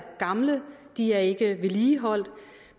gamle de er ikke vedligeholdt